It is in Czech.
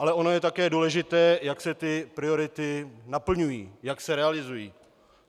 Ale ono je také důležité, jak se ty priority naplňují, jak se realizují.